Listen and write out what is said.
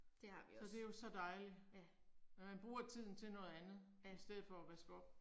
Så det jo så dejligt. Og man bruger tiden til noget andet, i stedet for at vaske op